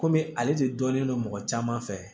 Kɔmi ale de dɔnnen don mɔgɔ caman fɛ